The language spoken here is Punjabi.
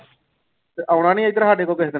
ਤੇ ਆਉਣਾ ਨੀ ਇੱਧਰ ਸਾਡੇ ਕੋਲ ਕਿਸੇ ਦਿਨ।